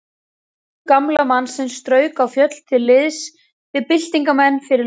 Sonur gamla mannsins strauk á fjöll til liðs við byltingarmenn fyrir löngu.